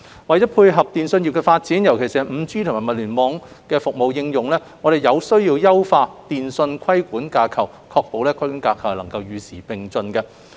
為配合通訊業的發展，尤其是 5G 和物聯網服務的應用，我們有需要優化電訊規管架構，確保規管架構與時並進。